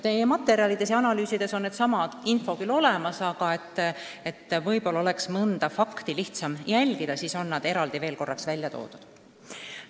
Teie materjalides ja analüüsides on seesama info küll olemas, aga võib-olla on mõnda fakti lihtsam jälgida, kui kõik on ka eraldi välja toodud.